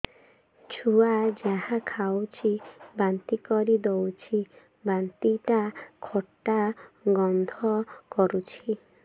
ଛୁଆ ଯାହା ଖାଉଛି ବାନ୍ତି କରିଦଉଛି ବାନ୍ତି ଟା ଖଟା ଗନ୍ଧ କରୁଛି